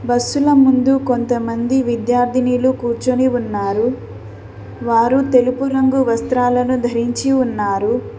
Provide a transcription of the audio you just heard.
Bus ల ముందు కొంతమంది విద్యార్థినీలు కూర్చొని ఉన్నారు వారు తెలుపు రంగు వస్త్రాలను ధరించి ఉన్నారు.